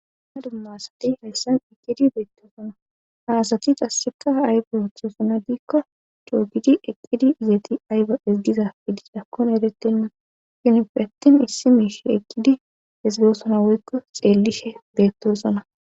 na dumma asati hayssan eqqidi beettoosona haasati qasika aybo hoththoosona diikko choogidi eqqidi izeeti ayba ezgizafidi dakkon erettenna shinfi attin issi miishe eqqidi ezgosona woykko xeellishe beettoosona